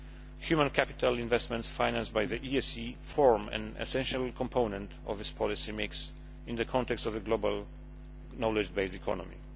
Human capital investments financed by the ESF form an essential component of this policy mix in the context of the global knowledge based economy.